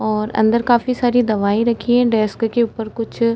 और अंदर काफी सारी दवाई रखी है। डेस्क के ऊपर कुछ --